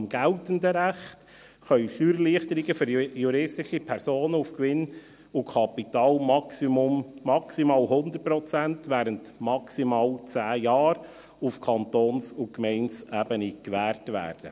Nach dem geltenden Recht können auf Kantons- und Gemeindeebene Steuererleichterungen auf Gewinn und Kapital für juristische Personen maximal 100 Prozent während maximal 10 Jahren gewährt werden.